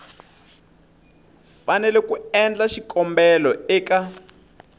fanele ku endla xikombelo eka